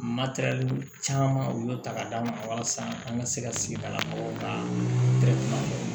Matɛrɛli caman u y'o ta k'a d'a ma walasa an ka se ka sigida mɔgɔw ta